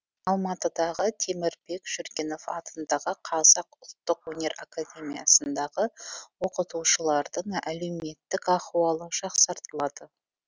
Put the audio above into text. алматыдағы темірбек жүргенов атындағы қазақ ұлттық өнер академиясындағы оқытушылардың әлеуметтік ахуалы жақсартылады